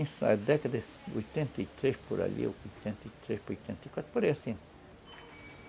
Isso na década de oitenta e três, por ali, ou oitenta e três, oitenta e quatro, por aí, assim.